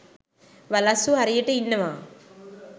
වලස්සු හරියට ඉන්නවා.